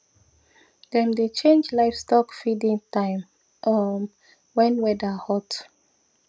dem dey change livestock feeding time um when weather hot